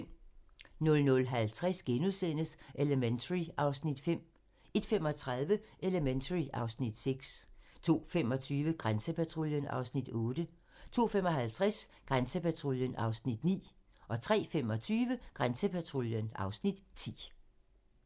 00:50: Elementary (Afs. 5)* 01:35: Elementary (Afs. 6) 02:25: Grænsepatruljen (Afs. 8) 02:55: Grænsepatruljen (Afs. 9) 03:25: Grænsepatruljen (Afs. 10)